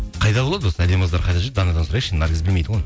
қайда болады осы әдемі қыздар қайда жүреді данадан сұрайықшы наргиз білмейді ғой